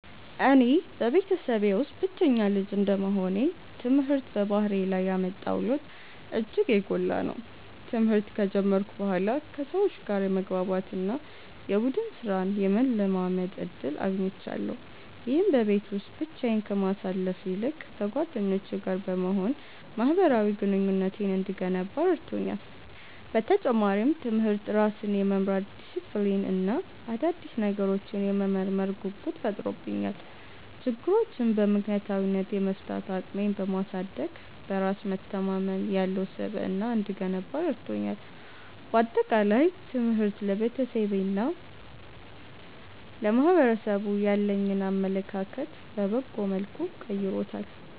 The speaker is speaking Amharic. እኔ በቤተሰቤ ውስጥ ብቸኛ ልጅ እንደመሆኔ፣ ትምህርት በባህሪዬ ላይ ያመጣው ለውጥ እጅግ የጎላ ነው። ትምህርት ከጀመርኩ በኋላ ከሰዎች ጋር የመግባባት እና የቡድን ሥራን የመለማመድ ዕድል አግኝቻለሁ። ይህም በቤት ውስጥ ብቻዬን ከማሳልፍ ይልቅ ከጓደኞቼ ጋር በመሆን ማኅበራዊ ግንኙነቴን እንድገነባ ረድቶኛል። በተጨማሪም፣ ትምህርት ራስን የመምራት ዲሲፕሊን እና አዳዲስ ነገሮችን የመመርመር ጉጉት ፈጥሮብኛል። ችግሮችን በምክንያታዊነት የመፍታት አቅሜን በማሳደግ፣ በራስ መተማመን ያለው ስብዕና እንድገነባ ረድቶኛል። በአጠቃላይ፣ ትምህርት ለቤተሰቤና ለማኅበረሰቡ ያለኝን አመለካከት በበጎ መልኩ ቀይሮታል።